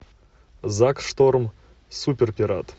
зак шторм суперпират